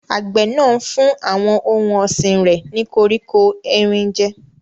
Àgbẹ̀ náà ń fún àwọn ohun ọ̀sìn rẹ̀ ní koríko erin jẹ́.